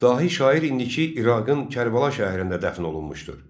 Dahi şair indiki İraqın Kərbəla şəhərində dəfn olunmuşdur.